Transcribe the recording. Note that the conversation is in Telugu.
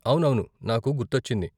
అవునవును, నాకు గుర్తొచ్చింది.